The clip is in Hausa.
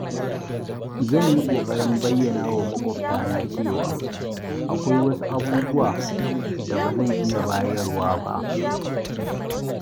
zan yi ƙoƙarin bayyana wa maƙwabtana cewa akwai wasu abubuwa da ba zan iya bayarwa ba.